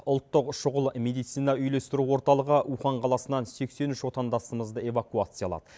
ұлттық шұғыл медицина үйлестіру орталығы ухань қаласынан сексен үш отандасымызды эвакуациялады